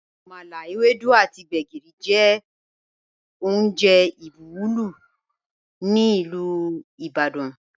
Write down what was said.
Àmàlà, èwèdú àtì gbẹ̀gìrì jẹ ọ̀un jẹ́ ọ́njè ìbùwọ̀lú ni Ilú Ìbàdàn.